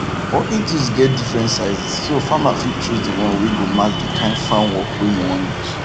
working tools get different sizes so farmer fit choose the one wey go match the kind farm work wey im wan use